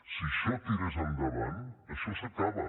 si això tirés endavant això s’acaba